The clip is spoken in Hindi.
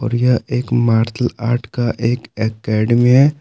यह एक मार्शल आर्ट का एक एकेडमी है।